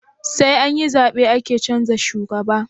Saianyi zabe ake canza shugaba